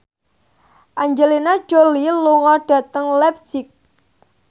Angelina Jolie lunga dhateng leipzig